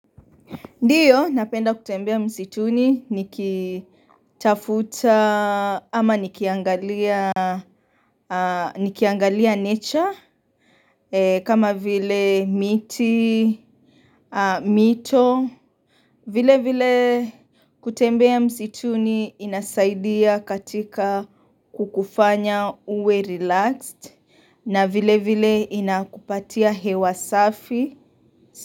Ndiyo napenda kutembea msituni nikitafuta ama nikiangalia nikiangalia nature kama vile miti, mito, vile vile kutembea msituni inasaidia katika kukufanya uwe relaxed na vile vile inakupatia hewa safi.